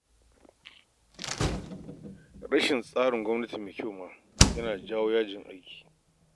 Rashin tsarin gwamnati mai kyau ma yana jawo a yi yajin aiki